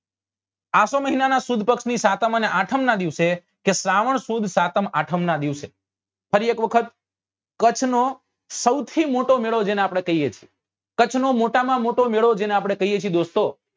આસો મહિના ની સુદ પક્ષ ની સાતમ અને આઠમ નાં દિવસે કે શ્રાવણ સુદ સાતમ ને આઠમ નાં દિવસે ફરી એક વખત કચ્છ નો સૌથી મોટો મેળો જેને આપડે કહીએ છીએ કચ્છ નો મોટા માં મોટો મેળો જેને આપડે કહીએ છીએ દોસ્તો